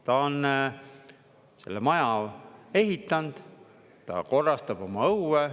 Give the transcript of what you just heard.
Ta on selle maja ehitanud, ta korrastab oma õue.